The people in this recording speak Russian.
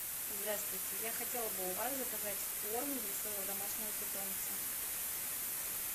здравствуйте я хотела бы у вас заказать корм для своего домашнего питомца